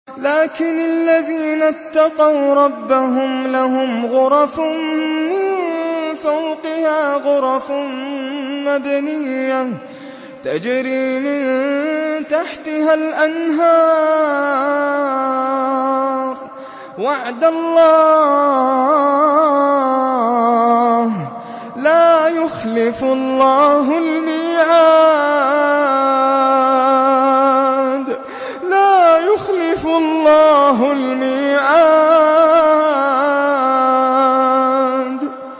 لَٰكِنِ الَّذِينَ اتَّقَوْا رَبَّهُمْ لَهُمْ غُرَفٌ مِّن فَوْقِهَا غُرَفٌ مَّبْنِيَّةٌ تَجْرِي مِن تَحْتِهَا الْأَنْهَارُ ۖ وَعْدَ اللَّهِ ۖ لَا يُخْلِفُ اللَّهُ الْمِيعَادَ